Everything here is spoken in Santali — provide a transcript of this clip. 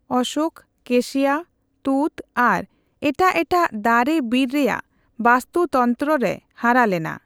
ᱚᱥᱳᱠ, ᱠᱮᱥᱤᱭᱟ, ᱛᱩᱸᱛ ᱟᱨ ᱮᱴᱟᱜ ᱮᱴᱟᱜ ᱫᱟᱨᱮ ᱵᱤᱨ ᱨᱮᱭᱟᱜ ᱵᱟᱥᱛᱩᱛᱚᱱᱛᱨᱚ ᱨᱮ ᱦᱟᱨᱟ ᱞᱮᱱᱟ ᱾